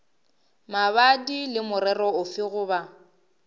mabapi le morero ofe goba